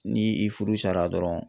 Ni i furu sara dɔrɔn